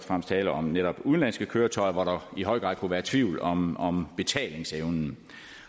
var tale om netop udenlandske køretøjer hvor der i høj grad kunne være tvivl om om betalingsevnen